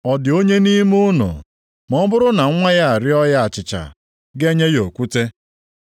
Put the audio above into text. “Ọ dị onye nʼime unu, ma ọ bụrụ na nwa ya arịọọ ya achịcha, ga-enye ya okwute?